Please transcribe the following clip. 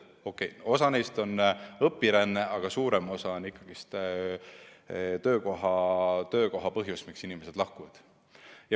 Okei, osa neist liigub õpirände tõttu, aga enamasti on põhjus ikkagi töökohas, miks inimesed lahkuvad.